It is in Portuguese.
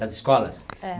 Das escolas? É